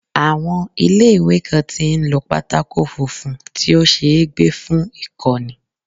Àwọn ilé ìwé kan tí ń lo pátákó funfun tí ó ṣeé gbé fún ìkọ́ni.